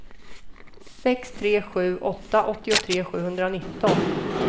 sex tre sju åtta åttiotre sjuhundranitton